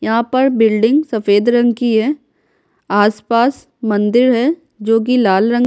यहाँ पर बिल्डिंग सफेद रंग की है आसपास मंदिर है जो कि लाल रंग --